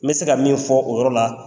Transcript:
N bɛ se ka min fɔ o yɔrɔ la